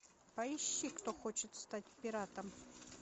поищи кто хочет стать пиратом